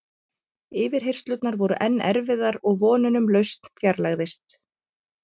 Yfirheyrslurnar voru enn erfiðar og vonin um lausn fjarlægðist.